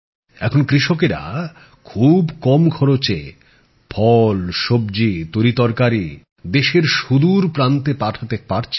এখন কৃষকেরা খুব কম খরচে ফল সব্জী তরি্তরকারি দেশের সুদুর প্রান্তে পাঠাতে পারছে